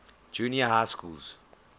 junior high schools